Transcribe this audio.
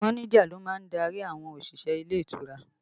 Mọ́níjà ló má ń darí àwọn òṣìṣẹ́ ilé ìtura